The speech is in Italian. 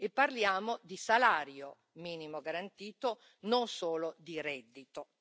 E parliamo di salario minimo garantito, non solo di reddito.